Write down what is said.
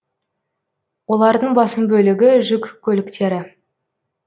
олардың басым бөлігі жүк көліктері